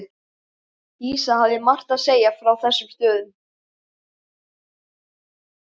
Dísa hafði margt að segja frá þessum stöðum.